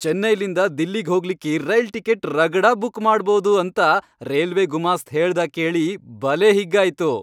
ಚೆನ್ನೈಲಿಂದ ದಿಲ್ಲಿಗ್ ಹೋಗ್ಲಿಕ್ಕಿ rail ticket ರಗಡ ಬುಕ್ ಮಾಡಭೌದ್ ಅಂತ ರೇಲ್ವೆ ಗುಮಾಸ್ತ್ ಹೇಳ್ದಾ ಕೇಳಿ ಬಲೇ ಹಿಗ್ಗಾಯ್ತು.